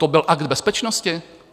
To byl akt bezpečnosti?